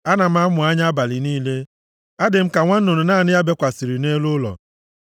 Ana m amụ anya abalị niile; adị m ka nwa nnụnụ naanị ya bekwasịrị nʼelu ụlọ.